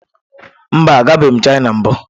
Mba, agabeghị m Chịna mbụ.